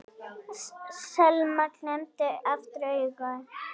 Selma klemmdi aftur augun.